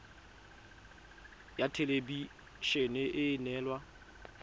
ya thelebi ene e neela